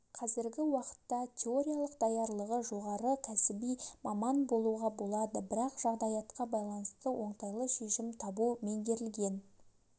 қазіргі уақытта теориялық даярлығы жоғары кәсіби маман болуға болады бірақ жағдаятқа байланысты оңтайлы шешім табу меңгерілген